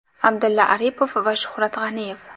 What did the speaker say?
Abdulla Aripov va Shuhrat G‘aniyev.